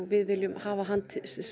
við viljum hafa hann